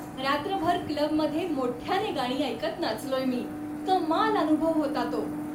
रात्रभर क्लबमध्ये मोठ्याने गाणी ऐकत नाचलोय मी. कमाल अनुभव होता तो.